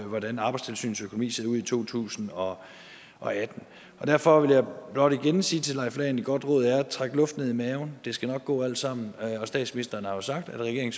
hvordan arbejdstilsynets økonomi ser ud i to tusind og og atten derfor vil jeg blot igen sige til leif lahn et godt råd er at trække luft ned i maven det skal nok gå alt sammen statsministeren har jo sagt at regeringen